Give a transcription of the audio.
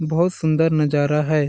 बहुत सुंदर नज़ारा है। .